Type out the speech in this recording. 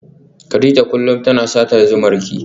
Kadija kullum tana satar zumarki.